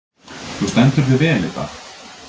Þú stendur þig vel, Idda!